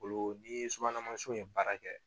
Olu ni subahana mansinw ye baara kɛ